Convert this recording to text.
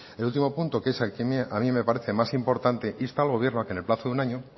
el último punto que es el que a mí me parece más importante insta al gobierno a que en el plazo de un año